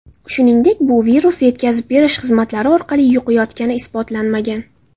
Shuningdek, bu virus yetkazib berish xizmatlari orqali yuqayotgani isbotlanmagan.